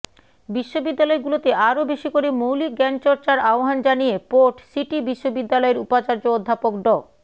বিশ্ববিদ্যালয়গুলোতে আরও বেশি করে মৌলিক জ্ঞান চর্চার আহবান জানিয়ে পোর্ট সিটি বিশ্ববিদ্যালয়ের উপাচার্য অধ্যাপক ড